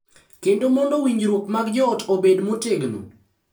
Kendo mondo winjruok mag joot obed motegno.